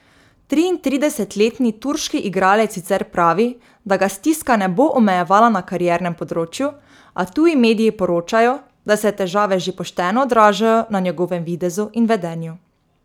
Triintridesetletni turški igralec sicer pravi, da ga stiska ne bo omejevala na kariernem področju, a tuji mediji poročajo, da se težave že pošteno odražajo na njegovem videzu in vedenju.